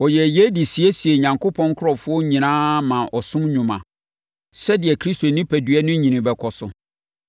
Ɔyɛɛ yei de siesiee Onyankopɔn nkurɔfoɔ nyinaa maa ɔsom nnwuma, sɛdeɛ Kristo onipadua no nyini bɛkɔso